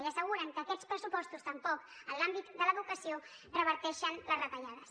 i asseguren que aquests pressupostos tampoc en l’àmbit de l’educació reverteixen les retallades